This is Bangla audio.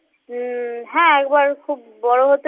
উম হ্যাঁ একবার খুব বড় হতে